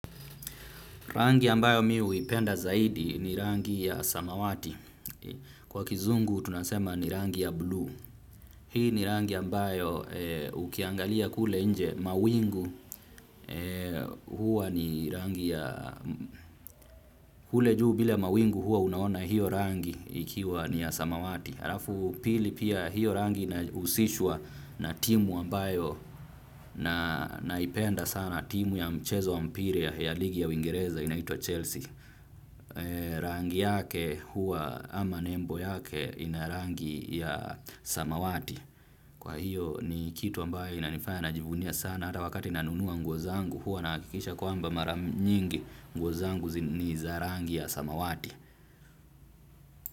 Rangi ambayo mi huipenda zaidi ni rangi ya samawati. Kwa kizungu tunasema ni rangi ya blue. Hii ni rangi ambayo ukiangalia kule nje mawingu huwa ni rangi ya kule juu vile mawingu huwa unaona hiyo rangi ikiwa ni ya samawati. Halafu pili pia hiyo rangi inahusishua na timu ambayo naipenda sana timu ya mchezo wa mpira ya ligi ya uwingereza inaitwa Chelsea. Rangi yake huwa ama nembo yake ina rangi ya samawati. Kwa hiyo ni kitu ambaye inanifaya najivunia sana hata wakati nanunua nguo zangu huwa naakikisha kwamba maranyingi nguo zangu ni za rangi ya samawati.